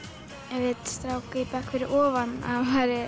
við strák í bekk fyrir ofan að hann væri